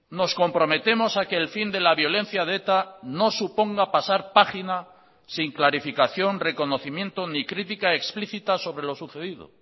nos comprometemos a que el fin de la violencia de eta no suponga pasar página sin clarificación reconocimiento ni critica explicita sobre lo sucedido